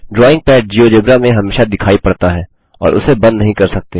drawing pad GeoGebra में हमेशा दिखाई पड़ता है और उसे बंद नहीं कर सकते